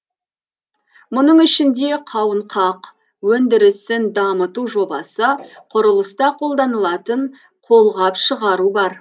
мұның ішінде қауынқақ өндірісін дамыту жобасы құрылыста қолданылатын қолғап шығару бар